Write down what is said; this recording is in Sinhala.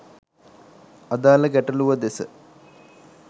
අදාළ ගැටළුව දෙස